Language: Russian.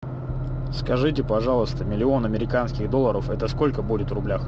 скажите пожалуйста миллион американских долларов это сколько будет в рублях